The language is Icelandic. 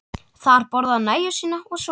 Þar borðaði hann nægju sína og svaf.